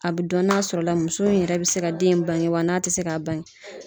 A be dɔn n'a sɔrɔ la muso in yɛrɛ be se ka den in bange wa n'a te se ka bange.